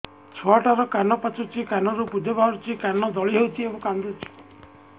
ଛୁଆ ଟା ର କାନ ପାଚୁଛି କାନରୁ ପୂଜ ବାହାରୁଛି କାନ ଦଳି ହେଉଛି ଏବଂ କାନ୍ଦୁଚି